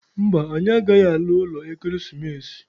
Mba, anyị agaghị ala ụlọ ekeresimesi.